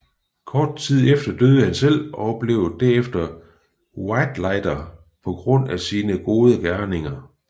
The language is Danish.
Kort tid efter døde han selv og blev derefter whitelighter på grund af sine gode gerninger